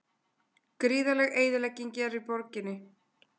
Gríðarleg eyðilegging er í borginni